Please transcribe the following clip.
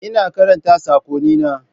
Ina karanta sakonnina.